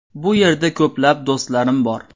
Bu yerda ko‘plab do‘stlarim bor.